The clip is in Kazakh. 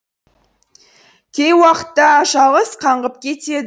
кей уақытта жалғыз қаңғып кетеді